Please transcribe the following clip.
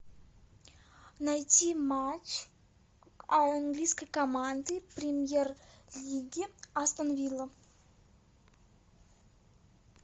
найти матч английской команды премьер лиги астон вилла